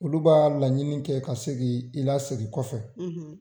Olu b'a laɲini kɛ ka se k'i lasegin kɔfɛ